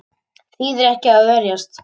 Þýðir ekki að verjast